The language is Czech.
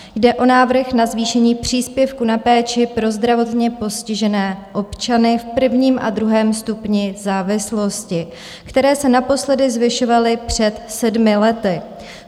Jde o návrh na zvýšení příspěvku na péči pro zdravotně postižené občany v prvním a druhém stupni závislosti, které se naposledy zvyšovaly před sedmi lety.